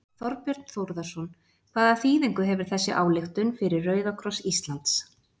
Þorbjörn Þórðarson: Hvaða þýðingu hefur þessi ályktun fyrir Rauða kross Íslands?